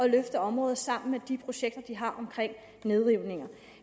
løfte området sammen med de projekter de har om nedrivninger